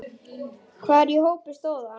Hvar í hópi stóð hann?